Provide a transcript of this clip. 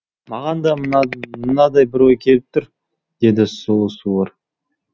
маған да мынадай бір ой келіп тұр деді сұлу суыр